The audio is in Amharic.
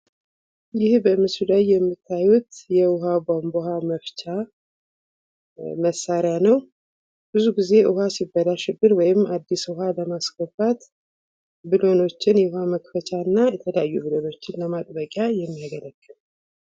ይህ በምስሉ ላይ የምታዩት የውሃ ቧንቧ መፍቻ መሳሪያ ነው። ብዙ ጊዜ ውሃ ሲበላሽብን ወይም አዲስ ውሃ ለማስገባት ቡለኖችን የውሃ መክፈቻ እና የተለያዩ ብሎኖችን ለማጥበቂያ የምንገለግልበት ነው።